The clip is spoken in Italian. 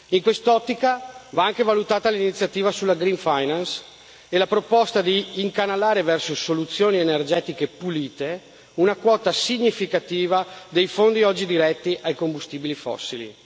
In quest'ottica va anche valutata l'iniziativa sulla green finance e la proposta di incanalare verso soluzioni energetiche pulite una quota significativa dei fondi oggi diretti ai combustibili fossili.